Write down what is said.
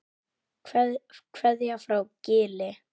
Kveðja frá Gili.